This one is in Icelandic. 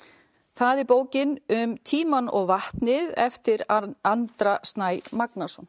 það er bókin um tímann og vatnið eftir Andra Snæ Magnason